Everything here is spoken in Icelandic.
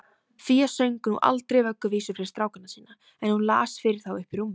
Fía söng nú aldrei vögguvísur fyrir strákana sína, en hún las fyrir þá uppí rúmi.